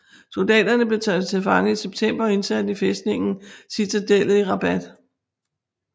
Soldaterne blev taget til fange i september og indsat i fæstningen Citadellet i Rabat